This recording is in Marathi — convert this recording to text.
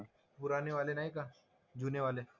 पुरानेवाले नाही का. जुनेवाले.